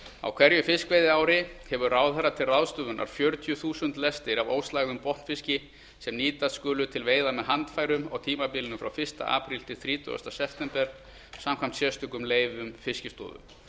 á hverju fiskveiðiári hefur ráðherra til ráðstöfunar fjörutíu þúsund lestir af óslægðum botnfiski sem nýttar skulu til veiða með handfærum á tímabilinu frá fyrsta apríl til þrítugasta september samkvæmt sérstökum leyfum fiskistofu